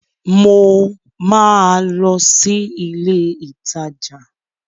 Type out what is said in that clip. Mo ma lọ sí ilé ìtajà